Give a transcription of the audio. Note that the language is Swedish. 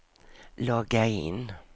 logga in